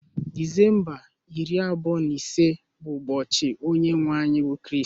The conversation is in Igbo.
Disemba iri abụọ na ise bụ ụbọchị onye nwe anyị bụ Kristi